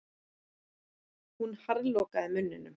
Hún harðlokaði munninum.